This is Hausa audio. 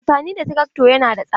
Amfani da trakto yana da tsada.